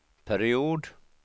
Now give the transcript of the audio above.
period